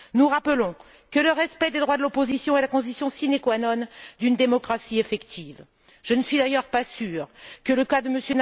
Nous rappelons que le respect des droits de l'opposition est la condition sine qua non d'une démocratie effective. Je ne suis d'ailleurs pas sûre que le cas de M.